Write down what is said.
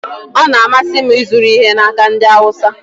Ọ na-amasị m ịzụrụ ihe n'aka ndị Awụsa